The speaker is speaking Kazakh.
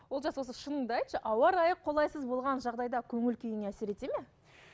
олжас осы шыныңды айтшы ауа райы қолайсыз болған жағдайда көңіл күйіңе әсер етеді ме